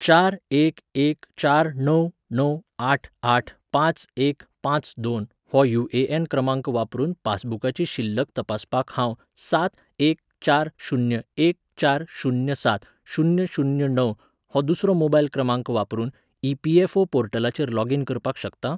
चार एक एक चार णव णव आठ आठ पांच एक पांच दोन हो यु.ए.एन. क्रमांक वापरून पासबुकाची शिल्लक तपासपाक हांव सात एक चार शुन्य एक चार शुन्य सात शुन्य शुन्य णव हो दुसरो मोबायल क्रमांक वापरून ई.पी.एफ.ओ. पोर्टलाचेर लॉगिन करपाक शकतां?